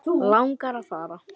Langar að fara.